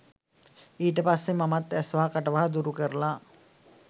ඊට පස්සේ මමත් ඇස්වහ කටවහ දුරු කරලා